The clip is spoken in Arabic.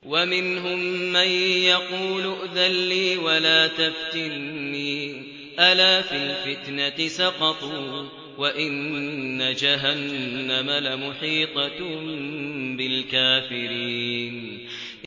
وَمِنْهُم مَّن يَقُولُ ائْذَن لِّي وَلَا تَفْتِنِّي ۚ أَلَا فِي الْفِتْنَةِ سَقَطُوا ۗ وَإِنَّ جَهَنَّمَ لَمُحِيطَةٌ بِالْكَافِرِينَ